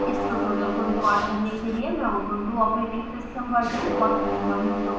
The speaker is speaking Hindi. इस ट्यूटोरियल को रिकॉर्ड करने के लिए मैं ubuntu operating system वर्जन 1404 का उपयोग कर रही हूँ